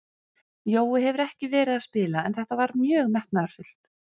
Jói hefur ekki verið að spila en þetta var mjög metnaðarfullt.